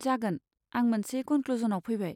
जागोन, आं मोनसे कनक्लुजनआव फैबाय।